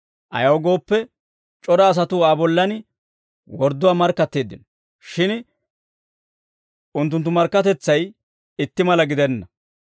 Ayaw gooppe, c'ora asatuu Aa bollan wordduwaa markkatteeddino; shin unttunttu markkatetsay itti mala gidenna.